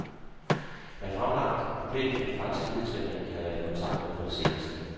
Jeg har fremlagt problemet for de franske videnskabsmænd, jeg har været i kontakt med på det seneste.